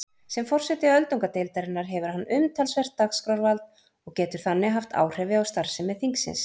Sem forseti öldungadeildarinnar hefur hann umtalsvert dagskrárvald og getur þannig haft áhrif á starfsemi þingsins.